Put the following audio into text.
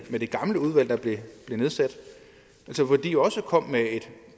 gamle udvalg der blev nedsat altså hvor de også kom med et